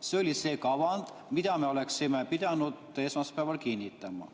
See oli see kava, mida me oleksime pidanud esmaspäeval kinnitama.